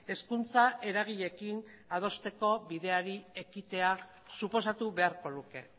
hezkuntza eragileekin adosteko bideari ekitea suposatu beharko luke